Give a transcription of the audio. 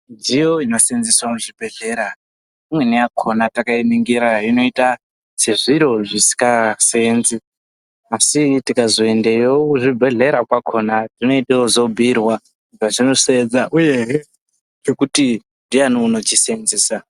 Midziyo inosevenzeswa muzvibhedhlera imweni yakona takainingira inoita sezviro zvisinga sevenzi asi tikazoendawo muzvibhedhlera kwakona tinenge tobhuirwa zvazvinosevenza uye nekuti ndiani anochisevenzesa.